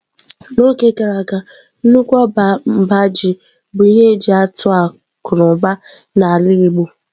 N'oge gara aga nnukwu ọba mba ji bụ ihe atụ akụ na ụba na ala igbo.